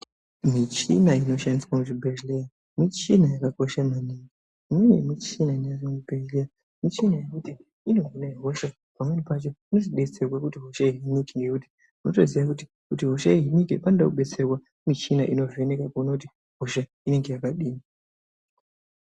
Michina inoshandiswa muzvibhedhlera, michina yakakosha maningi. Mune michina inenge iri muchibhedhlera, michina yekuti inohine hosha pamweni pacho inodetsera kuti hosha ihinike nekuti unotoziya kuti kuti hosha ihinike panoda kudetserwa ngemichina inovheneka kuona kuti hosha inenge yakadini.